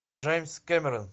джеймс кэмерон